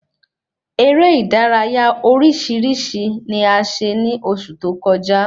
Eré ìdárayá orísirísi ni a ṣe ni oṣù tó kọjá